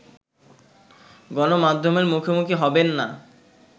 গণমাধ্যমের মুখোমুখি হবেন না